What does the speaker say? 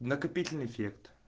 накопительный эффект